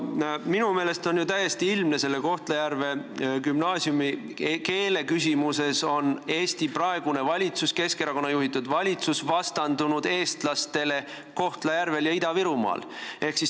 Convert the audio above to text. Minu meelest on täiesti ilmne, et selle Kohtla-Järve gümnaasiumi keeleküsimuses on Eesti valitsus, Keskerakonna juhitud valitsus vastandunud eestlastele Kohtla-Järvel ja Ida-Virumaal.